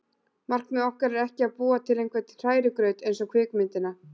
Markmið okkar er ekki að búa til einhvern hrærigraut eins og kvikmyndina